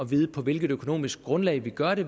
vide på hvilket økonomisk grundlag vi gør det